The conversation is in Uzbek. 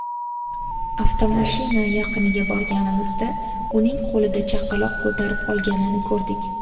Avtomashina yaqiniga borganimizda, uning qo‘lida chaqaloq ko‘tarib olganini ko‘rdik”.